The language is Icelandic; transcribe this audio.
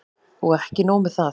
Og ekki nóg með það.